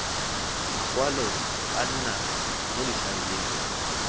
makwalo a nna mo difaeleng